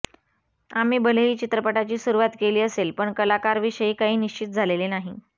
आम्ही भलेही चित्रपटाची सुरूवात केली असेल पण कलाकार विषयी काही निश्चित झालेले नाही